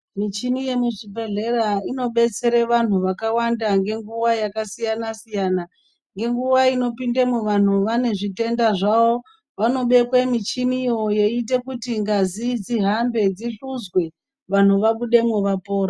Michhini yemuzvibhedhlera, inobetsere vanthu vakawanda, ngenguwa yakasiyana-siyana, ngenguwa inopindemwo vanthu vanezvitenda zvavo, vanobekwe michhiniyo yeiite kuti ngazi dzihambe dzihluzwe, vanthu vabudemwo vapora.